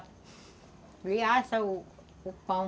Ele assa o o pão.